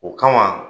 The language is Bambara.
O kama